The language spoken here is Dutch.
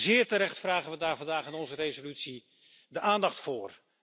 Zeer terecht vragen we daar vandaag in onze resolutie de aandacht voor.